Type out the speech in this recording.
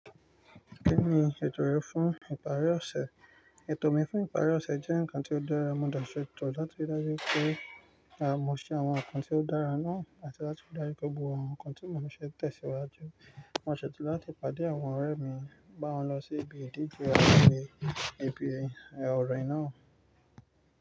Kí ni ètò rẹ fún ìparí ọ̀sẹ̀? Ètò mi fún ìparí ọ̀sẹ̀ jẹ́ nǹkan tí ó dára. Mo de sètò láti rí dájú pé, à mọ̀ ṣe àwọn ǹkan tí ó dára náà àti láti rí dájú pé gbogbo àwọn ǹkan tí mò níṣe tẹ̀síwájú. Mo ṣètò láti pàdé àwọn ọ̀rẹ́ mi, bá wọn lọ sí ibi ìdíje abẹ́rẹ́, ibi ọ̀re náà.